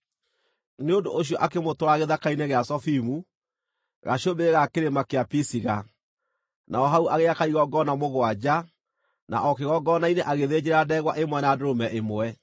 Nĩ ũndũ ũcio akĩmũtwara gĩthaka-inĩ gĩa Zofimu, gacũmbĩrĩ ga Kĩrĩma kĩa Pisiga, naho hau agĩaka igongona mũgwanja, na o kĩgongona-inĩ agĩthĩnjĩra ndegwa ĩmwe na ndũrũme ĩmwe.